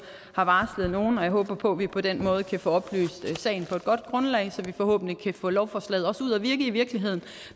har varslet nogle og jeg håber på at vi på den måde kan få oplyst sagen på et godt grundlag så vi forhåbentlig kan få lovforslaget ud at virke i virkeligheden